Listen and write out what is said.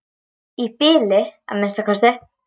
Í bili að minnsta kosti.